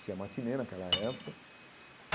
Tinha matinê naquela época.